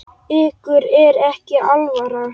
Ykkur er ekki alvara!